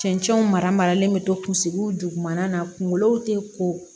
Cɛncɛnw maralen bɛ to kunsigiw dugumana na kungolow te ko